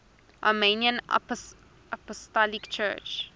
armenian apostolic church